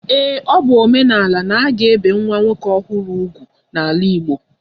Ee, ọ bụ omenala n'aga ebi nwa nwoke ọhụrụ úgwù n'ala Igbo